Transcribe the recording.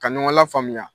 Ka ɲɔgɔn lafaamuya